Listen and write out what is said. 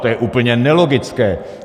To je úplně nelogické.